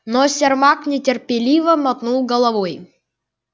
но сермак нетерпеливо мотнул головой